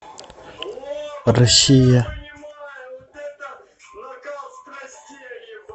россия